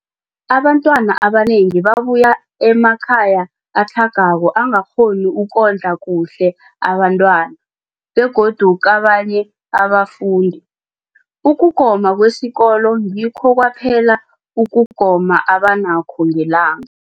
Abantwana abanengi babuya emakhaya atlhagako angakghoni ukondla kuhle abentwana, begodu kabanye abafundi, ukugoma kwesikolweni ngikho kwaphela ukugoma abanakho ngelanga.